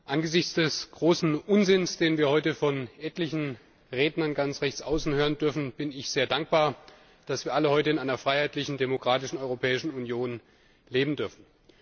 Angesichts des großen Unsinns, den wir heute von etlichen Rednern ganz rechts außen hören dürfen, bin ich sehr dankbar, dass wir alle heute in einer freiheitlichen, demokratischen Europäischen Union leben dürfen.